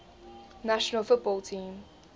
national football team